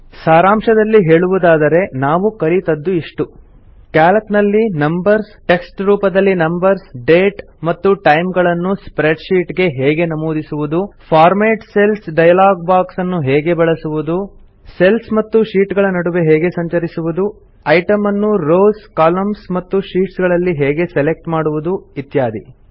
ಸಾರಾಂಶದಲ್ಲಿ ಹೇಳುವುದಾದರೆ ನಾವು ಕಲಿತದ್ದು ಇಷ್ಟು ಸಿಎಎಲ್ಸಿ ನಲ್ಲಿ ನಂಬರ್ಸ್ ಟೆಕ್ಸ್ಟ್ ಟೆಕ್ಸ್ಟ್ ರೂಪದಲ್ಲಿ ನಂಬರ್ಸ್ ಡೇಟ್ ಮತ್ತು ಟೈಮ್ ಗಳನ್ನು ಸ್ಪ್ರೆಡ್ ಶೀಟ್ ಗೆ ಹೇಗೆ ನಮೂದಿಸುವುದು ಫಾರ್ಮ್ಯಾಟ್ ಸೆಲ್ಸ್ ಡಯಾಲಾಗ್ ಬಾಕ್ಸ್ ಅನ್ನು ಹೇಗೆ ಬಳಸುವುದು ಸೆಲ್ಸ್ ಮತ್ತು ಶೀಟ್ ಗಳ ನಡುವೆ ಹೇಗೆ ಸಂಚರಿಸುದು ಐಟಮ್ ನ್ನು ರೋಸ್ ಕಾಲಮ್ಸ್ ಮತ್ತು ಶೀಟ್ಸ್ ಗಳಲ್ಲಿ ಹೇಗೆ ಸೆಲೆಕ್ಟ್ ಮಾಡುವುದು ಇತ್ಯಾದಿ